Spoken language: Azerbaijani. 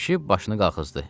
Kişi başını qaxızdı.